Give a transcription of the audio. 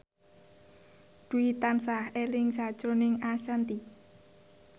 Dwi tansah eling sakjroning Ashanti